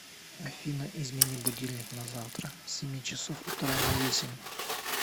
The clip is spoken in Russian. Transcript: афина измени будильник на завтра с семи часов утра на весемь